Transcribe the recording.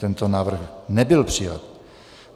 Tento návrh nebyl přijat.